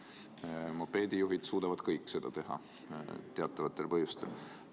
Seevastu mopeedijuhid suudavad seda teatavatel põhjustel kõik.